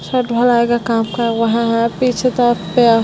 छत ढलाई का काम कर रहा है पीछे --